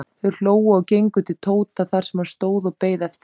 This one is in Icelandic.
Þau hlógu og gengu til Tóta þar sem hann stóð og beið eftir þeim.